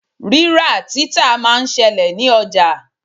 Rírà-títà máa ń ṣẹlẹ̀ ní ọjà.